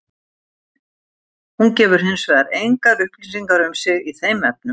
Hún gefur hins vegar engar upplýsingar um sig í þeim efnum.